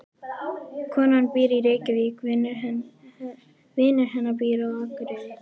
Konan býr í Reykjavík. Vinur hennar býr á Akureyri.